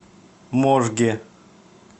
можге